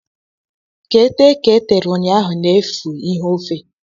Ka e tee ka e tere ụnyaahụ n'efu ihe ofe.